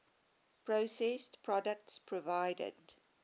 processed products provided